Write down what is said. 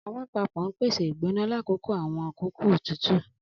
Alapapo n pese igbona lakoko awọn akoko tutu.